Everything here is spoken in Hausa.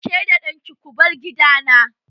Ke da ɗanki ko bar gidana!